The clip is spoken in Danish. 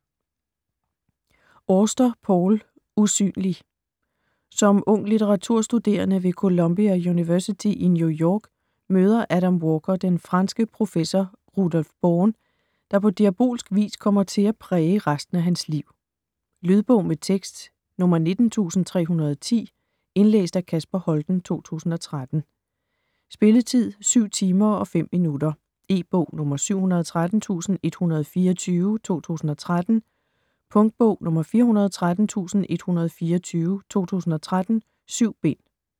Auster, Paul: Usynlig Som ung litteraturstuderende ved Columbia University i New York møder Adam Walker den franske professor Rudolf Born, der på diabolsk vis kommer til at præge resten af hans liv. Lydbog med tekst 19310 Indlæst af Kasper Holten, 2013. Spilletid: 7 timer, 5 minutter. E-bog 713124 2013. Punktbog 413124 2013. 7 bind.